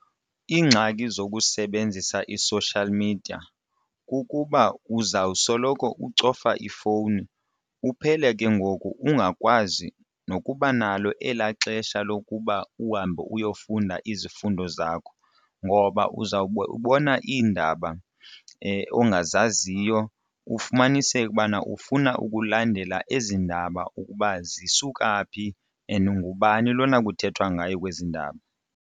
Iingxaki zokusebenzisa i-social media kukuba uzawusoloko ucofa ifowuni uphele ke ngoku ungakwazi nokuba nalo elaa xesha lokuba uhambe uyofunda izifundo zakho ngoba uzawuba ubona iindaba ongazaziyo ufumaniseke ukubana ufuna ukulandela ezi ndaba ukuba zisuka phi and ngubani lona kuthethwa ngayo kwezi ndaba.